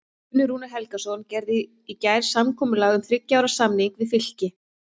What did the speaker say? Sjófarendur í Pólýnesíu sáu hana hins vegar sem stóran bláan hákarl.